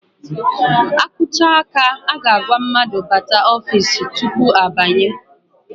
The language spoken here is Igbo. A kụcha áká, a ga-agwa mmadụ bata n'ofiisi tupu ha banye.